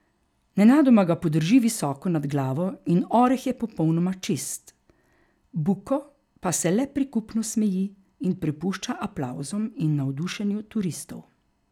Nenadoma ga podrži visoko nad glavo in oreh je popolnoma čist, Buko pa se le prikupno smeji in prepušča aplavzom in navdušenju turistov.